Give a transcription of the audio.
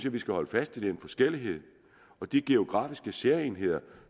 at vi skal holde fast i den forskellighed og de geografiske særegenheder